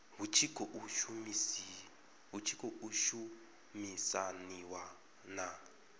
hu tshi khou shumisaniwa na